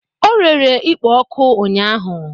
O rere ikpo oku ụnyahụ